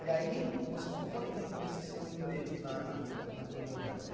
E aí você ficou quanto tempo nesse seu emprego na na Promovel?